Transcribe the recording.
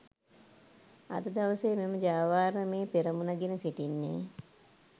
අද දවසේ මෙම ජාවාරමේ පෙරමුණ ගෙන සිටින්නේ